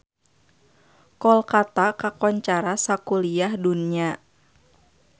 Kolkata kakoncara sakuliah dunya